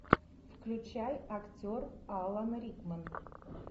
включай актер алан рикман